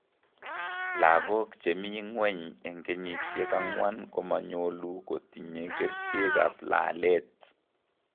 Logok chemii ng'weny eng' kenyisiek ang'wan komanyolu kotinye kercheek ab laalet